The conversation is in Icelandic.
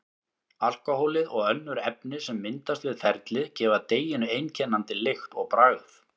Alkóhólið og önnur efni sem myndast við ferlið gefa deiginu einkennandi lykt og bragð.